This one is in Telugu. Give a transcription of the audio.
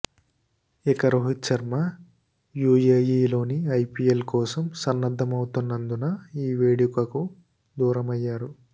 ఇక రోహిత్ శర్మ యూఏఈలోని ఐపీఎల్ కోసం సన్నద్దమవతున్నందున ఈ వేడుకకు దూరమయ్యారు